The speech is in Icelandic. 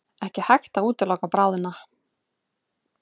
Ekki hægt að útiloka bráðnun